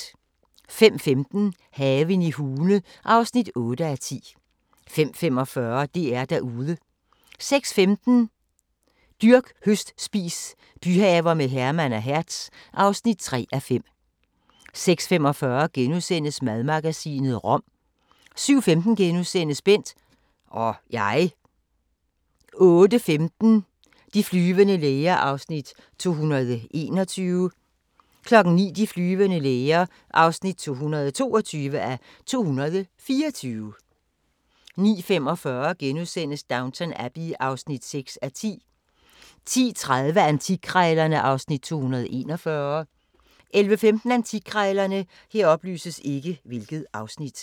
05:15: Haven i Hune (8:10) 05:45: DR-Derude 06:15: Dyrk, høst, spis – byhaver med Herman og Hertz (3:5) 06:45: Madmagasinet – rom * 07:15: Bent - og jeg * 08:15: De flyvende læger (221:224) 09:00: De flyvende læger (222:224) 09:45: Downton Abbey (6:10)* 10:30: Antikkrejlerne (Afs. 241) 11:15: Antikkrejlerne